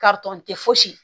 tɛ fosi ye